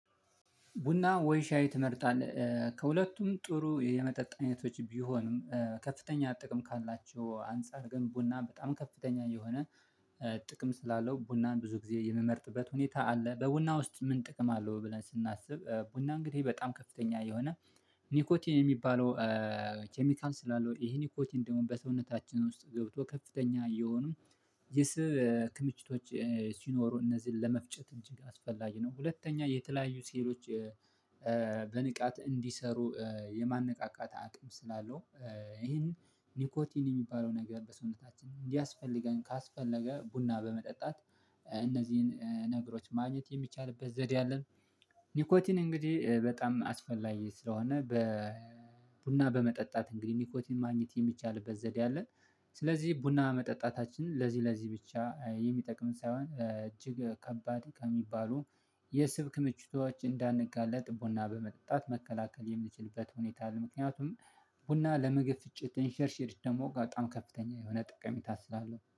ቡና ወይ ሻይ ትመርጣለህ? ከሁለቱም ጥሩ የመጠጥ አይነቶች ቢሆንም ከፍተኛ ጥቅም ካላቸው አንፃር ግን ቡና በጣም ከፍተኛ የሆነ ጥቅም ስላለው ቡናን ብዙ ጊዜ የምመርጥበት ሁኔታ አለ በቡና ውስጥ ምን ጥቅም አለው ብለን ስናስብ ቡና እንግዲህ በጣም ከፍተኛ የሆነ ኒኮቲን የሚባለው ኬሚካል ስላለው ይሄ ኒኮቲን ደግሞ በሰውነታችን ውስጥ ገብቶ ከፍተኛ የሆኑ የስብ ክምችቶች ሲኖሩ እነዚህን ለመፍጨት እጅግ አስፈላጊ ነው። ሁለተኛ የተለያዩ ሴሎች በንቃት እንዲሰሩ የማነቃቃት አቅም ስላለው ይሄን ኒኮቲን የሚባለው ነገር በሰውነታችን እንዲያስፈልገን ካስፈለገ ቡና በመጠጣት እነዚህን ነገሮች ማግኘት የሚቻልበት ዘዴ አለን። ኒኮቲን እንግዲህ በጣም አስፈላጊ ስለሆነ በ ቡና በመጠጣት እንግዲህ ኒኮቲን ማግኘት የሚቻልበት ዘዴ አለን። ስለዚህ ቡና መጠጣታችን ለዚህ ለዚህ ብቻ የሚጠቅም ሳይሆን እጅግ ከባድ ከሚባሉ የስብ ክምቹቶች እንዳንጋለጥ ቡና በመጠጣት መከላከል የምችልበት ሁኔታ ነው። ምክንያቱም ቡና ለመግፍጭት እንሸርሽርሽ ደግሞ በጣም ከፍተኛ የሆነ ጥቅሚታ ስላለው